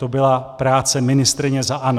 To byla práce ministryně za ANO.